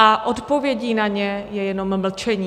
A odpovědí na ně je jenom mlčení.